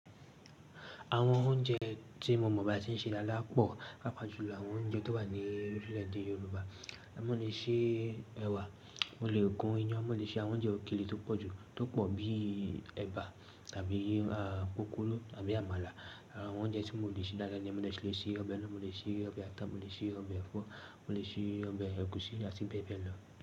Àwọn oúnjẹ tí mo mọ̀ bí wọ́n ṣe n ṣe daádaá pọ̀, pàápàá jùlọ àwọn oúnjẹ tó wà ní orílẹ̀èdè Yorùbá. Mọ̀ lè ṣe ẹ̀wà, mo lè gun iyán, mo lè ṣe àwọn oúnjẹ òkèlè tó pọ̀ jù, tó pọ̀ bíi ẹ̀bà tàbí pupuru àbí àmàlà. Àwọn oúnjẹ tí mo lè ṣe dáadáa ni mo lè ṣe ọbẹ̀ ẹ́ran, mo lè ṣe ọbẹ̀ ata, mo lè ṣe ọbẹ̀ ẹ̀fọ́, mo lè ṣe ọbẹ̀ ẹ̀gúsí àti bẹ́ẹ̀ bẹ́ẹ̀ lọ.